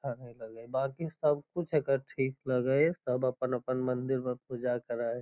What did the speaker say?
हमय लगय बांकी सब कुछ एकर ठीक लगय हय सब अपन-अपन मंदिर में पूजा करा हय।